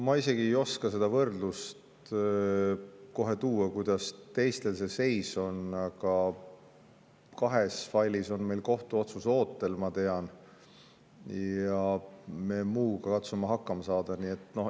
Ma isegi ei oska seda võrdlust kohe tuua, kuidas teistel see seis on, aga ma tean, et kahes failis on meil kohtuotsus ootel, ja me muuga katsume hakkama saada.